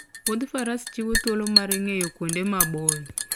Wuoth faras chiwo thuolo mar ng'eyo kuonde maboyo